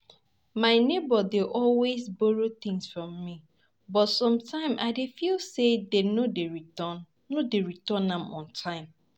My neighbor dey always borrow things from me, but sometimes I dey feel say dem no dey return no dey return am on time.